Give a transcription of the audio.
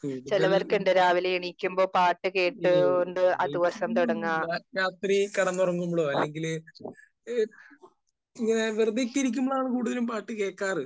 കൂടുതൽ ഈ രാത്രിയിൽ കിടന്നുറങ്ങുമ്പോൾ അല്ലെങ്കിൽ ഏഹ് വെറുതെയൊക്കെ ഇരിക്കുമ്പോഴാണ് കൂടുതലും പാട്ട് കേൾക്കാറ്. .